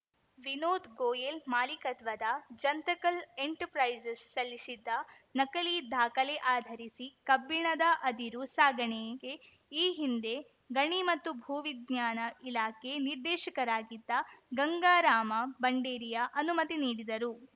ವಿನೋದ್‌ ಗೋಯೆಲ್‌ ಮಾಲಿಕತ್ವದ ಜಂತಕಲ್‌ ಎಂಟರ್‌ಪ್ರೈಸಸ್‌ ಸಲ್ಲಿಸಿದ್ದ ನಕಲಿ ದಾಖಲೆ ಆಧರಿಸಿ ಕಬ್ಬಿಣದ ಅದಿರು ಸಾಗಣೆಗೆ ಈ ಹಿಂದೆ ಗಣಿ ಮತ್ತು ಭೂವಿಜ್ಞಾನ ಇಲಾಖೆ ನಿರ್ದೇಶಕರಾಗಿದ್ದ ಗಂಗಾರಾಮ ಬಂಡೇರಿಯಾ ಅನುಮತಿ ನೀಡಿದ್ದರು